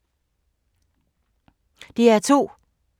DR2